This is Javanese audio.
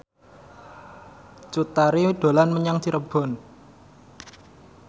Cut Tari dolan menyang Cirebon